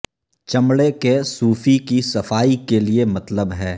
چمڑے کے سوفی کی صفائی کے لئے مطلب ہے